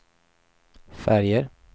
färger